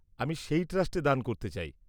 -আমি সেই ট্রাস্টে দান করতে চাই।